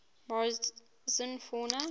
morrison fauna